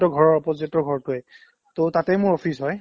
সিহঁতৰ opposite ৰ ঘৰটোয়ে to তাতে office মোৰ হয়